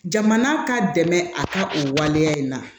Jamana ka dɛmɛ a ka o waleya in na